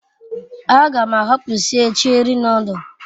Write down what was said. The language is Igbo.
A gam ahapu sie Cheri nodul